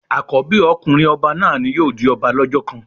Àkọ́bí ọkùnrin ọba náà ni yóò di ọba lọ́jọ́ kan.